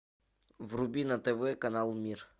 вруби на тв канал мир